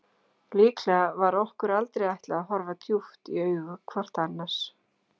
Líklega var okkur aldrei ætlað að horfa djúpt í augu hvort annars.